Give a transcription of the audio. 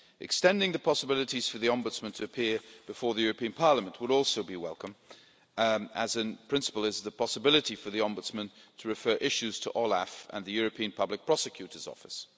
Extending the possibilities for the Ombudsman to appear before the European Parliament would also be welcome as, in principle, is the possibility for the Ombudsman to refer issues to OLAF and the European Public Prosecutor's Office.